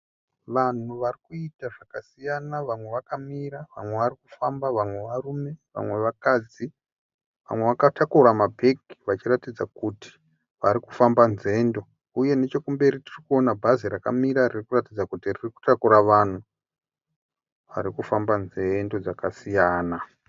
Vanhu varikuita zvakasiyana vamwe vamwe vakamira vamwe varikufamba, varume vamwe vakadzi . Vamwe vakatakura mabhegi zvichiratidza kuti varikufamba dzendo. Uye nechekumberi tirikuaona bhazi rakamira ririkuratidza kuti ririkutakura vanhu varikufamba dzendo dzakasiyana.